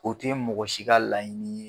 O te mɔgɔ si ka laɲini ye